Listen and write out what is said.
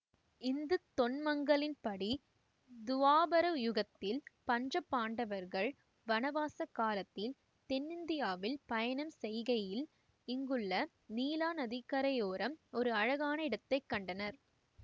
இந்துத் தொன்மங்களின்படி துவாபர யுகத்தில் பஞ்ச பாண்டவர்கள் வனவாச காலத்தில் தென்னிந்தியாவில் பயணம் செய்கையில் இங்குள்ள நீளா நதிக்கரையோரம் ஒரு அழகான இடத்தை கண்டனர்